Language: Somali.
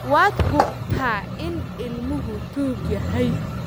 Waad hubtaa in ilmuhu tuug yahay